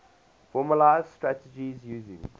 formalised strategies using